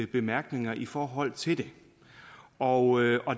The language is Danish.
bemærkninger i forhold til det og